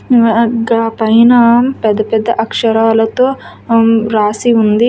పైన పెద్ద పెద్ద అక్షరాలతో అమ్ రాసి ఉంది.